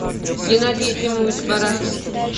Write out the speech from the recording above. геннадий ефимович барашкин